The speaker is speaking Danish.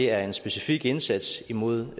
er en specifik indsats imod